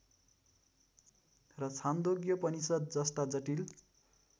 र छान्दोग्योपनिषद् जस्ता जटिल